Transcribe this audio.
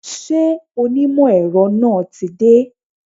Ṣé onímọ̀ èrọ náà tí dé?